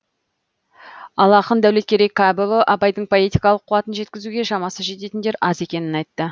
ал ақын дәулеткерей кәпұлы абайдың поэтикалық қуатын жеткізуге шамасы жететіндер аз екенін айтты